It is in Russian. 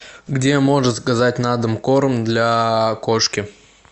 где можно заказать на дом корм для кошки